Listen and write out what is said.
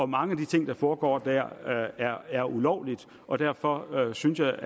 mange af de ting der foregår der er ulovlige og derfor synes jeg